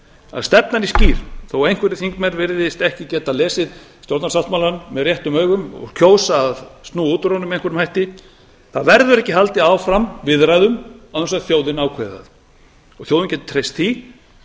að stefnan er skýr þó einhverjir þingmenn virðist ekki geta lesið stjórnarsáttmálann með réttum augum og kjósa að snúa út úr honum með einhverjum hætti það verður ekki haldið áfram viðræðum án þess að þjóðin ákveði það og þjóðin getur treyst því að